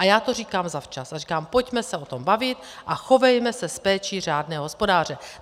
A já to říkám zavčas a říkám, pojďme se o tom bavit a chovejme se s péčí řádného hospodáře.